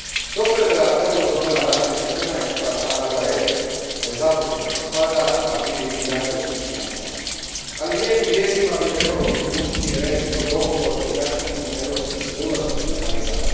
Dobro je da eurozona raste četrnaest kvartala za redom, nezaposlenost pada, a GDP jača u svim članicama, ali lijepim vijestima bi trebalo priključiti recimo dogovor o jačanju europskih sigurnosnih mehanizama.